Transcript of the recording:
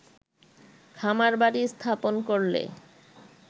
খামারবাড়ি স্থাপন করলে